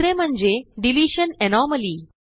दुसरे म्हणजे deletion anomaly